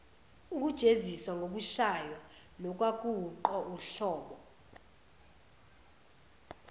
ukujeziswa ngokushaywa nokwakuwuhlobo